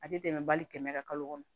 A tɛ tɛmɛ bali kɛmɛ kan kalo kɔnɔ